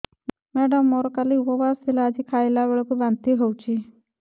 madam ମୋର କାଲି ଉପବାସ ଥିଲା ଆଜି ଖାଦ୍ୟ ଖାଇଲା ବେଳକୁ ବାନ୍ତି ହେଊଛି